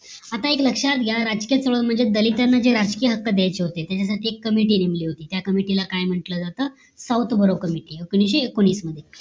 आता एक लक्ष्यात घ्या राजकीय चळवळ म्हणजे दलितांना जे राजकीय हक्क द्यायचे होते त्याच्यासाठी एक committee नेमली होती त्या committee काय म्हणते जात south buro committee एकोणीशे एकोणीस मध्ये